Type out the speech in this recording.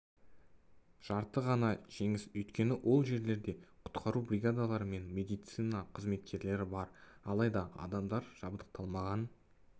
жарты ғана жеңіс өйткені ол жерлерде құтқару бригадалары мен медицина қызметкерлері бар алайда адамдар жабдықталмаған